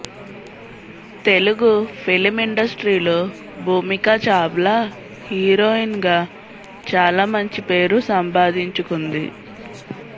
Telugu film industry లో Bhumika Chawla heroine గా చాలా మంచి పేరు సంపాదించుకుంది